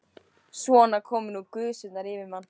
Svona komu nú gusurnar yfir mann.